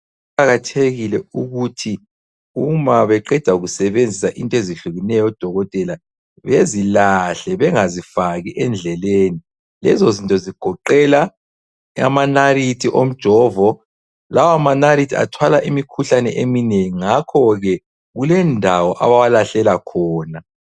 Kuqakathekile ukuthi uma beqeda kusebenzisa into ezihlukeneyo odokotela, bezilahle bengazifaki endleleni. Lezozinto zigoqela amanalithi omjovo. Lawo manalithi athwala imikhuhlane eminengi. Ngakhoke kulendawo abawalahlela khona.